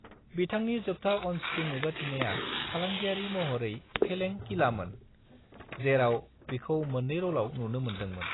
बिथांनि जोबथा अन-स्क्रीन नुजाथिनाया फालांगियारि महरै फेलें किलामोन, जेराव बिखौ मोननै र'लाव नुनो मोनदोंमोन।